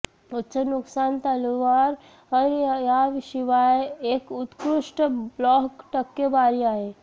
उच्च नुकसान तलवार याशिवाय एक उत्कृष्ट ब्लॉक टक्केवारी आहे